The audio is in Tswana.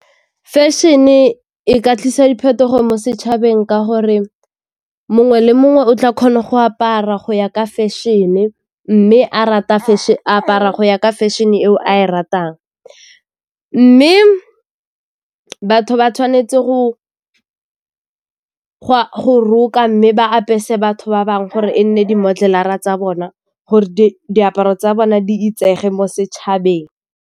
Fashion-e e ka tlisa diphetogo mo setšhabeng ka gore mongwe le mongwe o tla kgona go apara go ya ka fashion-e mme a apara go ya ka fashion eo a e ratang. Mme batho ba tshwanetse go roka mme ba apese batho ba bangwe gore e nne di-model-ara tsa bona gore diaparo tsa bona di itsege mo setšhabeng.